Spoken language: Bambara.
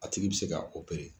A tigi bɛ se ka